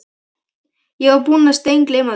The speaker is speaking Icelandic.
Ég var búinn að steingleyma því.